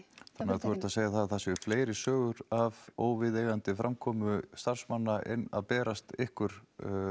þannig að þú ert að segja að það séu fleiri sögur af óviðeigandi framkomu starfsmanna að berast ykkur